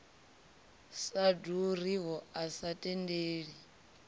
sa ḓuriho a sa tendeli